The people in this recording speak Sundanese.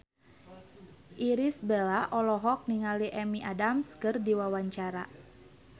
Irish Bella olohok ningali Amy Adams keur diwawancara